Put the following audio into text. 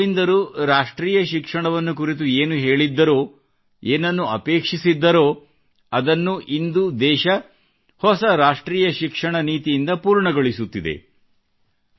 ಶ್ರೀ ಅರವಿಂದರು ರಾಷ್ಟ್ರೀಯ ಶಿಕ್ಷಣವನ್ನು ಕುರಿತು ಏನು ಹೇಳಿದ್ದಾರೆ ಏನನ್ನು ಅಪೇಕ್ಷ್ಷಿಸಿದ್ದರೋ ಅದನ್ನು ಇಂದು ದೇಶವು ಹೊಸ ರಾಷ್ಟ್ರೀಯ ಶಿಕ್ಷಣ ನೀತಿಯಿಂದ ಪೂರ್ಣಗೊಳಿಸುತ್ತಿದೆ